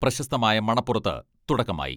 പ്രശസ്തമായ മണപ്പുറത്ത് തുടക്കമായി.